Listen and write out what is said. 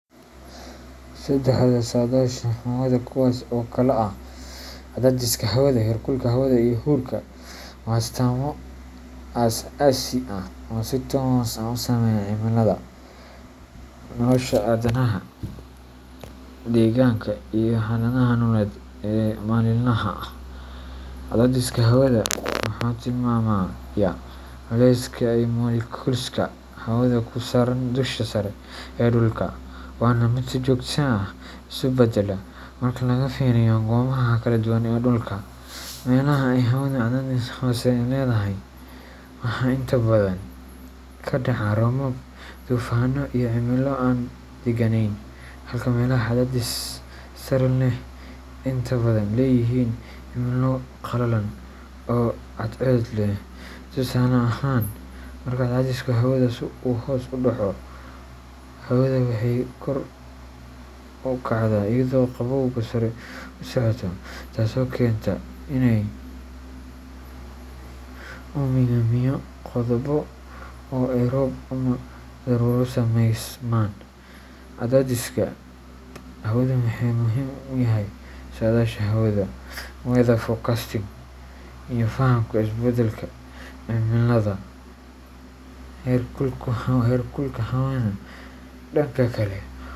Saddexda sadashaha hawada kuwaas oo kala ah cadaadiska hawada, heerkulka hawada, iyo huurka waa astaamo aas aasi ah oo si toos ah u saameeya cimilada, nolosha aadanaha, deegaanka iyo xaaladaha nololeed ee maalinlaha ah. Cadaadiska hawada wuxuu tilmaamayaa culayska ay moleculeska hawadu ku saaraan dusha sare ee dhulka, waana mid si joogto ah isu beddela marka laga fiiriyo goobaha kala duwan ee dhulka. Meelaha ay hawadu cadaadis hoose leedahay waxaa inta badan ka dhaca roobab, duufaanno, iyo cimilo aan degganayn, halka meelaha cadaadis sare leh ay inta badan leeyihiin cimilo qalalan oo cadceed leh. Tusaale ahaan, marka cadaadiska hawada uu hoos u dhaco, hawada waxay kor u kacdaa iyadoo qabowga sare u socota, taasoo keenta inay uumiga biyo qaboobo oo ay roob ama daruurro sameysmaan. Cadaadiska hawadu wuxuu muhiim u yahay saadaasha hawada weather forecasting iyo fahamka isbeddelka cimilada. Heerkulka hawada, dhanka kale.